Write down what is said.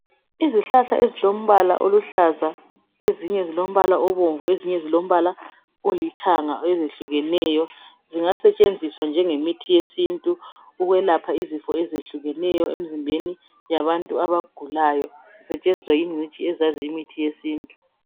izihlahla ezilombala oluhlaza ezinye zilombala obomvu ezinye zilombala olithanga ezihlukeneyo zingasetshenziswa nje nge mithi yesintu ukwelapha izifo ezihlukeneyo emizimbeni yabantu abagulayo zisetshenziswa yingqitshi eziyaziyo imithi yesintu.